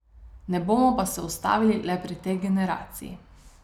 Ne bomo pa se ustavili le pri tej generaciji.